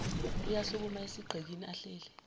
uyasukuma esigqikini ahleli